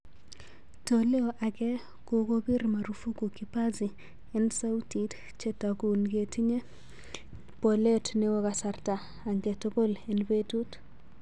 Toleo age kokopir marufuku kipazi en sautit chetagun chetinye polet neo kasarta angetugul en petut